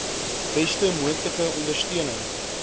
beste moontlike ondersteuning